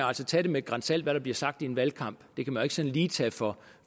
altså tage det med et gran salt hvad der bliver sagt i en valgkamp det kan man sådan lige tage for